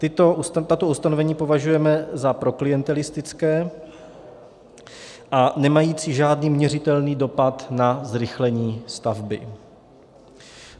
Tato ustanovení považujeme za proklientelistická a nemající žádný měřitelný dopad na zrychlení stavby.